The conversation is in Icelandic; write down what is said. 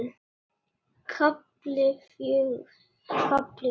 KAFLI FJÖGUR